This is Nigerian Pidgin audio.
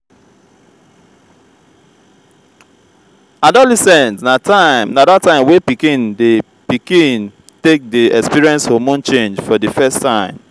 adolescent na dat time wey pikin wey pikin take dey experience hormone change for di first time